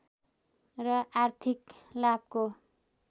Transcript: र आर्थिक लाभको